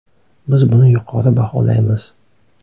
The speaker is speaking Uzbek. Biz buni yuqori baholaymiz.